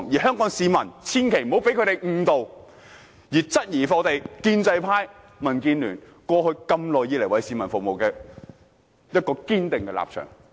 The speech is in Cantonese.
香港市民千萬不要被他們誤導，質疑建制派、民建聯過去多年來為市民服務的堅定立場。